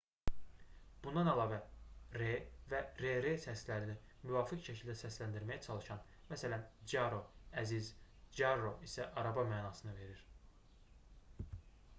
bundan əlavə r və rr səslərini müvafiq şəkildə səsləndirməyə çalışın məsələn caro əziz carro isə araba mənasını verir